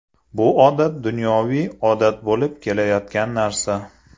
Bu odat dunyoviy odat bo‘lib kelayotgan narsa.